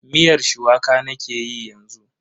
Miyar shuwaka nake yi yanzu.